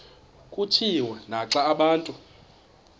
kutshiwo naxa abantu